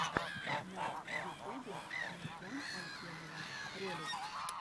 на ютубе маржан алькенова ролик